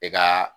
I ka